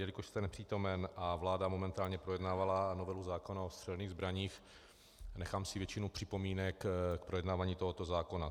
Jelikož jste nepřítomen a vláda momentálně projednávala novelu zákona o střelných zbraních, nechám si většinu připomínek k projednávání tohoto zákona.